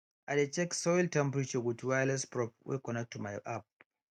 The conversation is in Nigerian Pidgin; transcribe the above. i dey check soil temperature with wireless probe wey connect to my app